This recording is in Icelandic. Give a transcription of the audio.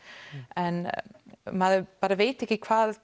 en maður veit ekki hvað